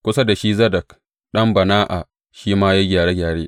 Kusa da shi Zadok ɗan Ba’ana shi ma ya yi gyare gyare.